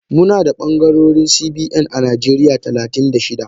Munada bangarori CBN a najeriya talatin da shida.